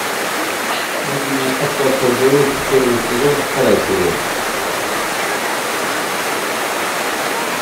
найди мне остаться в живых первый сезон вторая серия